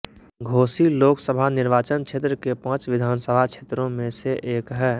घोसी लोकसभा निर्वाचन क्षेत्र के पांच विधानसभा क्षेत्रों में से एक है